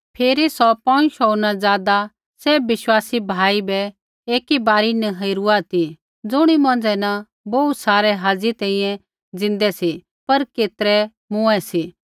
फिरी सौ पौंज़ शोऊ न ज़ादा सैभ विश्वासी भाई बै ऐकी बारी न हेरुआ ती ज़ुणी मौंझ़ै न बोहू सारै हाज़ी तैंईंयैं ज़िन्दै सी पर केतरै मूँऐ सी